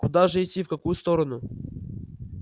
куда же идти в какую сторону